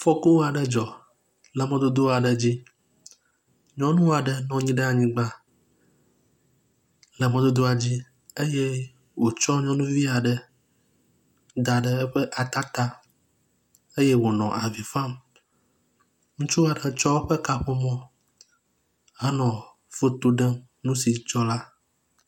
Afɔku aɖe dzɔ le mɔdodo aɖe dzi. Nyɔnu aɖe nɔ anyi ɖe anyigba le mɔdodoa dzi eye wotsɔ nyɔnuvi aɖe da ɖe eƒe ata ta eye wonɔ avi fam. Ŋutsu aɖe tsɔ eƒe kaƒomɔ henɔ foto ɖem nu si dzɔ la.